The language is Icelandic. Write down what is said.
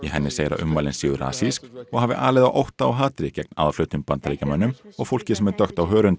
henni segir að ummælin séu og hafi alið á ótta og hatri gegn aðfluttum Bandaríkjamönnum og fólki sem er dökkt á hörund